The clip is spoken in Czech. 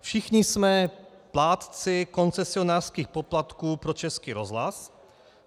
Všichni jsme plátci koncesionářských poplatků pro Český rozhlas.